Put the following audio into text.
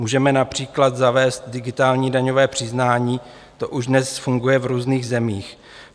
Můžeme například zavést digitální daňové přiznání, to už dnes funguje v různých zemích.